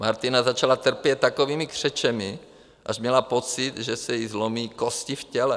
Martina začala trpět takovými křečemi, až měla pocit, že se jí zlomí kosti v těle.